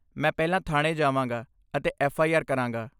ਮੈਂ ਪਹਿਲਾਂ ਥਾਣੇ ਜਾਵਾਂਗਾ ਅਤੇ ਐਫ.ਆਈ.ਆਰ. ਕਰਾਂਗਾ।